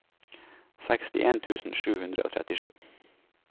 sekstien tusen sju hundre og trettisju